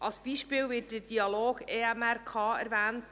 Als Beispiel wird der «Dialog EMRK» erwähnt.